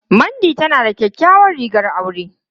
Mandy tana da kyakkyawar rigar aure.